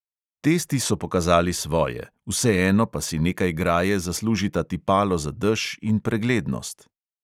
Testi so pokazali svoje, vseeno pa si nekaj graje zaslužita tipalo za dež in preglednost.